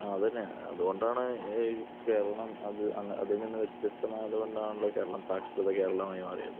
ആഹ് അതുതന്നെ അതുകൊണ്ടാണ് കേരളം അതിൽനിന്നു വ്യത്യസ്തമാകുന്നത് കൊണ്ടാണല്ലോ കേരളം സാക്ഷര കേരളമായി മാറുന്നത്